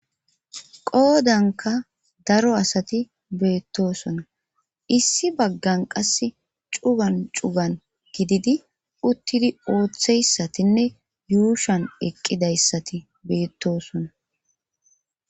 qoodanka daro asati beettosona issi baggan qasse cugan cugan gididi uttidi ooththeyssatinne yuushan eqqidayssati beettosona